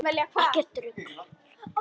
Ekkert rugl!